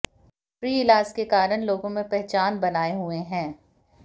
free इलाज के कारण लोगों में पहचान बनाए हुए हैं